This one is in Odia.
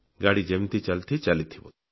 ଗାଡି ଯେମିତି ଚାଲିଛି ଚାଲିଥିବ